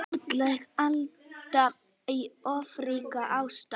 Útlæg Alda í ofríki ástar.